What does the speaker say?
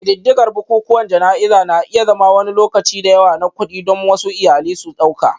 Ƙididdigar bukukuwan jana'izar na iya zama wani lokaci da yawa na kuɗi, don wasu iyali su ɗauka